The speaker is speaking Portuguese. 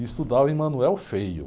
E estudava em.